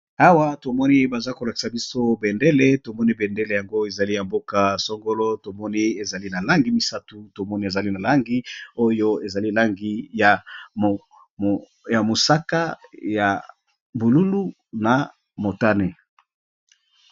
Awa tomoni baza kolakisa biso bendele tomoni bendele, yango ezali ya mboka songolo tomoni ezali na langi misatu tomoni ezali na langi oyo ezali langi ya mosaka, ya bululu, na motane.